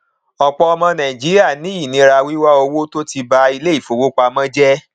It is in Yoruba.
ọpọ ọmọ nàìjíríà ní ìnira wíwá owó tó ti ba iléifowopamọ jẹ